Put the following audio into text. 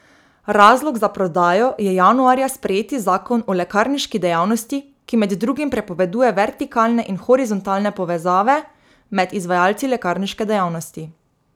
Razlog za prodajo je januarja sprejeti zakon o lekarniški dejavnosti, ki med drugim prepoveduje vertikalne in horizontalne povezave med izvajalci lekarniške dejavnosti.